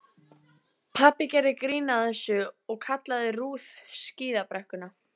Pabbi gerði grín að þessu og kallaði Ruth skíðabrekkuna.